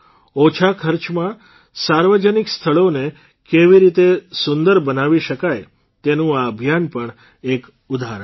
ઓછા ખર્ચમાં સાર્વજનિક સ્થળોને કેવી રીતે સુંદર બનાવી શકાય તેનું આ અભિયાન પણ એક ઉદાહરણ છે